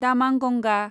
Damanganga